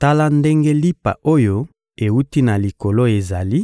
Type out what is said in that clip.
Tala ndenge lipa oyo ewuti na Likolo ezali: